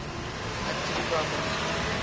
acting prime minister